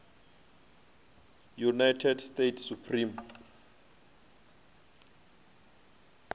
united states supreme